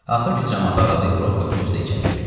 Axır ki, camaatı aralayıb Rokov özü də içəri girdi.